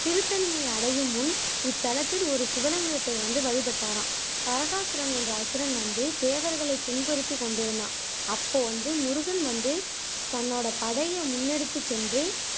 திருத்தணியை அடையும்முன் இத்தலத்தில் ஒரு சிவலிங்கத்தை வந்து வழிபட்டாராம் தாரகாசுரன் என்ற அசுரன் வந்து தேவர்களை துன்புறுத்திக்கொண்டிருந்தான் அப்போ வந்து முருகன் வந்து தன்னோட படைய முன்னெடுத்து சென்று